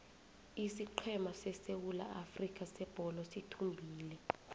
isiqhema sesewula afrika sebholo sithumbile